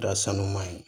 Da sanuman ye